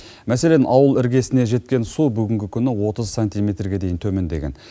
мәселен ауыл іргесіне жеткен су бүгінгі күні отыз сантиметрге дейін төмендеген